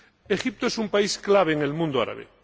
Egipto es un país clave en el mundo árabe.